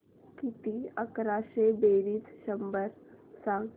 किती अकराशे बेरीज शंभर सांग